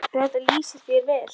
Þetta lýsir þér vel.